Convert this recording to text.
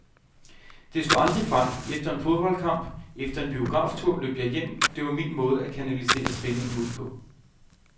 Det slog aldrig fejl, efter en fodboldkamp, efter en biograftur løb jeg hjem, det var min måde at kanalisere spændingen ud på.